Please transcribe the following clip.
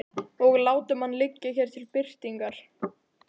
Og látum hann liggja hér til birtingar.